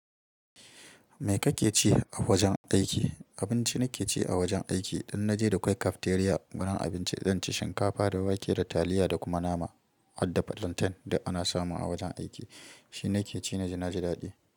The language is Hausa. Me kake ci a wajen aiki? Abinci nake ci a wajen aiki, idan na je dakwai cafeteria gurin abinci, zan ci shinkafa da wake da taliya da kuma nama, hadda plantain duk ana samu a wajen aiki shi nake ci na ji na ji daɗi.